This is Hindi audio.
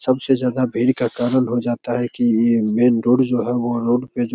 सबसे ज्यादा भीड़ का कारण हो जाता है की ये मेन रोड जो है वो रोड पे जो --